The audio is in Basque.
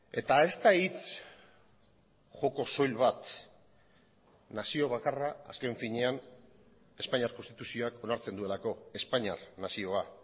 eta ez da hitz joko soil bat nazio bakarra azken finean espainiar konstituzioak onartzen duelako espainiar nazioa